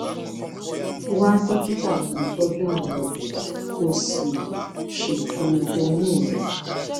wá dókítà tó ń tọjú àwọn obìnrin kó o sì ṣètò oyún rẹ